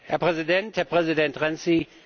Herr Präsident, Herr Präsident Renzi!